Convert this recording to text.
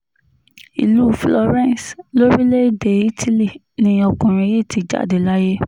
ìlú florence lórílẹ̀‐èdè italy ni ọkùnrin yìí ti jáde láyé